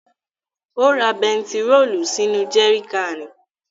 Ó ra bẹntiróòlù sínú jẹri káànì.